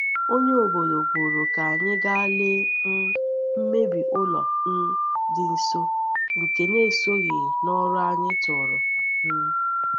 Onye obodo kwuru ka anyị gaa lee um mmebi ụlọ um dị nso, nke na-esoghị n’ọrụ anyị tụrụ. um